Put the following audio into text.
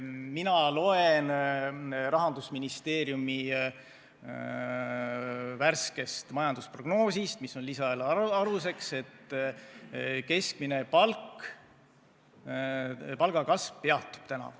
Mina loen Rahandusministeeriumi värskest majandusprognoosist, mis on lisaeelarve aluseks, et keskmise palga kasv peatub.